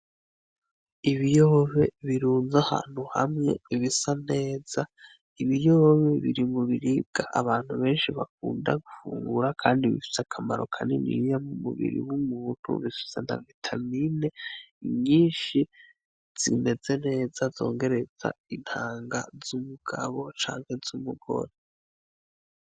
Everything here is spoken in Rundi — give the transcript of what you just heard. Ibiyoba birunze ahantu hamwe bisa neza, ibiyoba biri mu biribwa abantu benshi bakunda gufungura kandi bifise akamaro kaniniya mu mubiri w'umuntu bifise na vitamine nyinshi zimeze neza zongereza intanga z'umugabo canke z'umugore.